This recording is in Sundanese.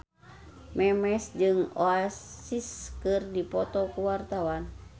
Memes jeung Oasis keur dipoto ku wartawan